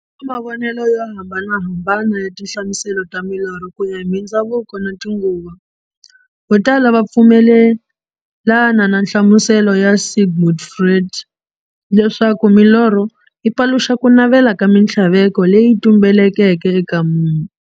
Ku na mavonele yo hambanahambana ya tinhlamuselo ta milorho, kuya hi mindzhavuko na tinguva. Vo tala va pfumelana na nhlamuselo ya Sigmund Freud, leswaku milorho yi paluxa kunavela na minthlaveko leyi tumbeleke eka munhu.